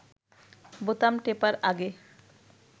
বোতাম টেপার আগে